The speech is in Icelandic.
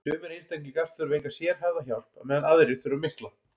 sumir einstaklingar þurfa enga sérhæfða hjálp á meðan aðrir þurfa mikla